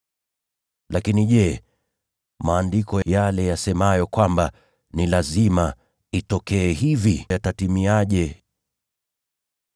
Lakini je, yale Maandiko yanayotabiri kwamba ni lazima itendeke hivi yatatimiaje?”